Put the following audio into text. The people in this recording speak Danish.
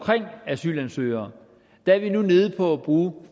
asylansøgere er vi nu nede på at bruge